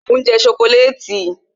mo n je sokoleti